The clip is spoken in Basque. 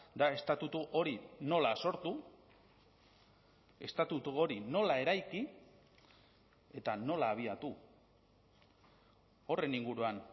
da estatutu hori nola sortu estatutu hori nola eraiki eta nola abiatu horren inguruan